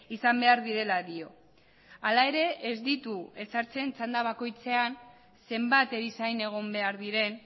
izan behar direla dio hala ere ez ditu ezartzen txanda bakoitzean zenbat erizain egon behar diren